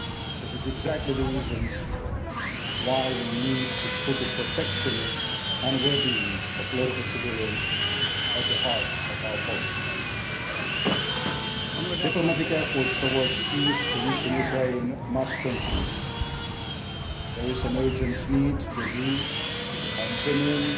This is exactly the reason why we need to put the protection and well being of local civilians at the heart of our policy. Diplomatic efforts towards peace in eastern Ukraine must continue. There is an urgent need for all parties to agree on a genuine